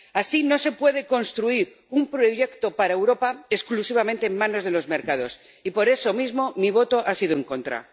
Así no se puede construir un proyecto para Europa, exclusivamente en manos de los mercados, y por eso mismo mi voto ha sido en contra.